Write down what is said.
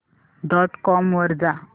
dot com वर जा